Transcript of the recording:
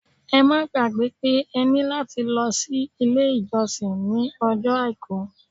Ẹ má gbàgbẹ́ pé ẹ ní láti lọ sí ilé-ìjọsìn ní ọjọ́ Àìkú.